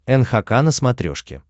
нхк на смотрешке